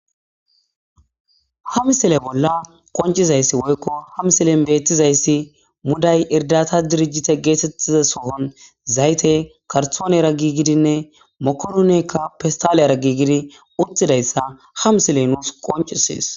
hamsile bolla qoncizayssi woykko hamsilen beettizayssi muday irdata dirijite geetettiza sohon zayte kartoone ra gi gidinne mokorunekka pistaleyraggi gidi uttidayssa hamsiley nuus qoncisees